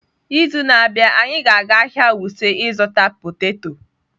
N'izu na-abịa, anyị ga-aga ahịa Wuse ịzụta poteto.